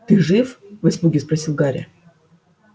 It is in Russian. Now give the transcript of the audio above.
ты жив в испуге спросил гарри